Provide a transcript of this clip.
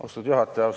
Austatud juhataja!